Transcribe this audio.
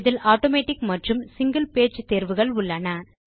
இதில் ஆட்டோமேட்டிக் மற்றும் single page தேர்வுகள் உள்ளன